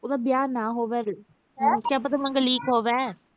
ਉਹਦਾ ਵਿਆਹ ਨਾ ਹੋਵੈ ਵੇ, ਮੰਗਲੀਕ ਹੋਵੈ।